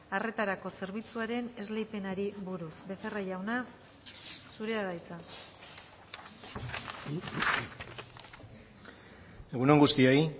arretarako zerbitzuaren esleipenari buruz becerra jauna zurea da hitza egun on guztioi